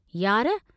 "यार!